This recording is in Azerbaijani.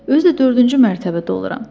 Özü də dördüncü mərtəbədə oluram.